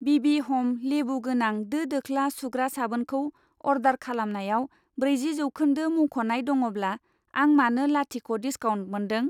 बिबि ह'म लेबुगोनां दो दोख्ला सुग्रा साबोनखौ अर्डार खालामनायाव ब्रैजि जौखौन्दो मुंख'नाय दङब्ला, आं मानो लाथिख' डिसकाउन्ट मोनदों।